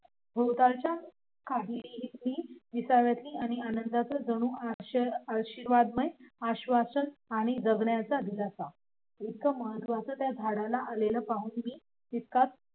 भोवतालच्या काहिलीतलं विसाव्याच आणि आनंदाच जणू आशीर्वादमय आश्वासन आणि जगण्याचा दिलासा इतकं महत्व्वत्या झाडाला आलेलं पाहून मी